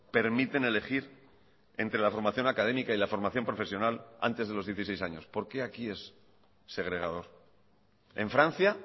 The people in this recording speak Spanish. permiten elegir entre la formación académica y la formación profesional antes de los dieciséis años por qué aquí es segregador en francia